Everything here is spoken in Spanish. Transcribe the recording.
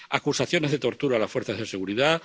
acusaciones de tortura a las fuerzas de seguridad